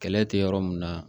Kɛlɛ tɛ yɔrɔ min na